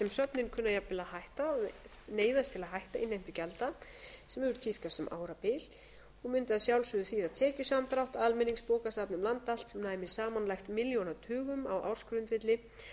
jafnvel að hætta og neyðast til að hætta innheimtu gjalda sem hefur tíðkast um ára og mundi að sjálfsögðu þýða tekjusamdrátt almenningsbókasafna um land allt sem næmi samanlagt milljónatugum á ársgrundvelli